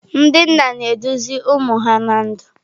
Ndị nna na-eduzi ụmụ ha ná ndụ.